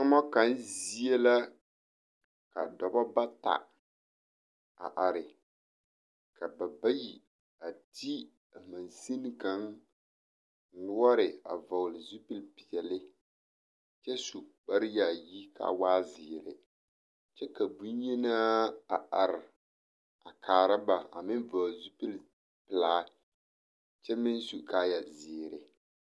Tomo kaŋ zie la ka dɔbɔ bata a are ka ba bayi a ti mansine kaŋ noɔre a vɔgle zupile peɛle kyɛ su kpare yaayi kaa waa zeere kyɛ ka bonyenaa a are a kaara ba a meŋ vɔgle zupile pelaa kyɛ meŋ su kaa zeere.